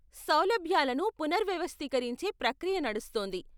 సౌలభ్యాలను పునర్వ్యవస్థీకరించే ప్రక్రియ నడుస్తోంది.